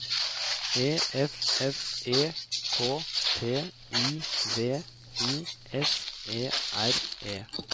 E F F E K T I V I S E R E